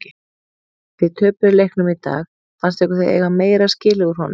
Þið töpuðu leiknum í dag fannst ykkur þið eiga meira skilið úr honum?